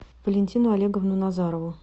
валентину олеговну назарову